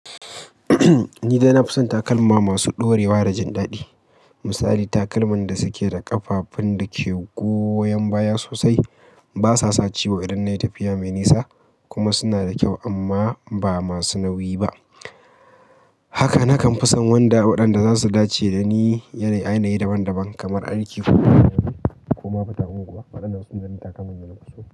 Ni dai na fi son takalma masu ɗorewa da jin daɗi. Misali, takalman da suke da ƙafafun da ke goyan baya sosai, ba sa sa ciwo idan nayi tafiya mai nisa kuma suna da kyau amma ba masu nauyi ba. Haka na kan fi son wanda waɗanda za su dace da ni yanayi daban daban kamar arki ko ma futa unguwa. Waɗannan sune takalman da nafi so.